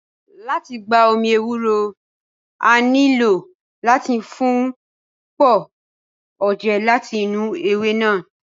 Lati gba omi ewúro, a o nilo lati fun pọ oje lati inu ewe naa.